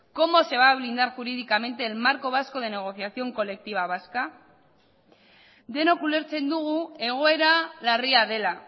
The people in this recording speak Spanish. cómo se va a blindar jurídicamente el marco vasco de negociación colectiva vasca denok ulertzen dugu egoera larria dela